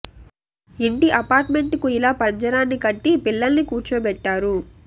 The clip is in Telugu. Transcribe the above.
ఇంటి అపార్ట్ మెంట్ కు ఇలా పంజరాన్ని కట్టి పిల్లల్ని కూర్చోబెట్టారు